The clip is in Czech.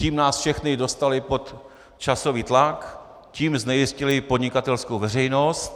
Tím nás všechny dostali pod časový tlak, tím znejistili podnikatelskou veřejnost.